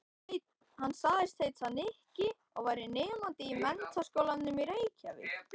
Hann sagðist heita Nikki og vera nemandi í Menntaskólanum í Reykjavík.